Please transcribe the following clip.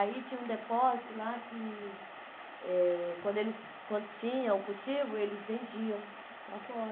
Aí tinha um depósito lá que, eh quando eles quando tinham o cultivo, eles vendiam para fora.